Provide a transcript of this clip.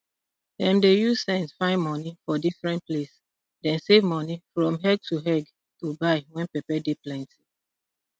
dem dey use sense find money for different place dem save money from egg to egg to buy when pepper dey plenty